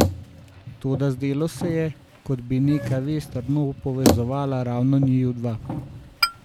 Toda zdelo se je, kot bi neka vez trdno povezovala ravno njiju dva.